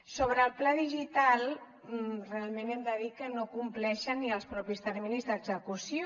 sobre el pla digital realment hem de dir que no compleixen ni els propis terminis d’execució